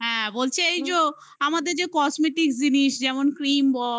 হ্যাঁ, বলছি এই যো আমাদের যে cosmatic জিনিস, যেমন cream বল,